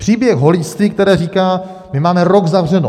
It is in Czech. Příběh holičství, které říká: My máme rok zavřeno.